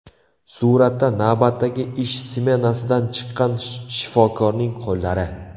Suratda navbatdagi ish smenasidan chiqqan shifokorning qo‘llari.